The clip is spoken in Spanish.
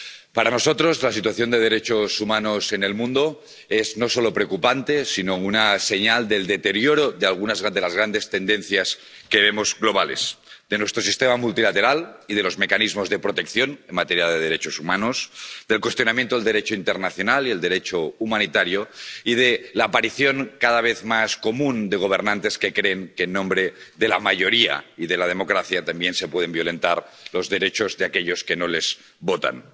Para nosotros la situación de derechos humanos en el mundo es no solo preocupante, sino una señal del deterioro de algunas de las grandes tendencias globales que vemos, de nuestro sistema multilateral y de los mecanismos de protección en materia de derechos humanos, del cuestionamiento del Derecho internacional y del Derecho humanitario y de la aparición, cada vez más común, de gobernantes que creen que, en nombre de la mayoría y de la democracia, también se pueden violentar los derechos de aquellos que no les votan.